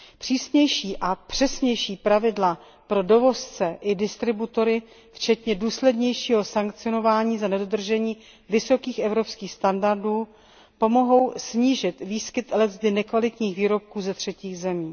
Přísnější a přesnější pravidla pro dovozce i distributory včetně důslednějšího sankcionování za nedodržení vysokých evropských standardů pomohou snížit výskyt leckdy nekvalitních výrobků ze třetích zemí.